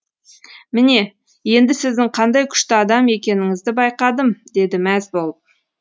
міне енді сіздің қандай күшті адам екеніңізді байқадым деді мәз болып